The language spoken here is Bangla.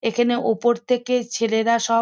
এখানে ওপর থেকে ছেলেরা সব --